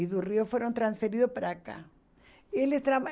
E do Rio foram transferidos para cá.